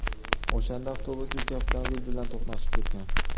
O‘shanda avtobus ikki avtomobil bilan to‘qnashib ketgan.